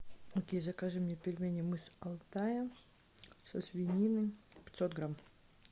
окей закажи мне пельмени мы с алтая со свининой пятьсот грамм